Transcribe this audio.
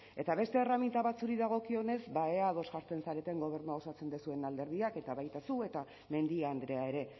eta beste erreminta batzuri dagokionez ba ea ados jartzen zareten gobernua osatzen duzuen alderdiak eta baita zu eta mendia andrea ere